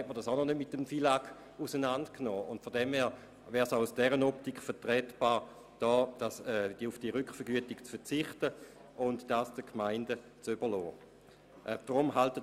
Aus dieser Optik wäre es vertretbar, auf diese Rückvergütung zu verzichten und diese Kosten den Gemeinden zu überlassen.